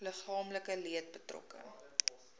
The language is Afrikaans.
liggaamlike leed betrokke